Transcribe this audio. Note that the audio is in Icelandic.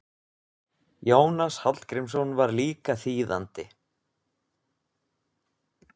Jónas Hallgrímsson var líka þýðandi.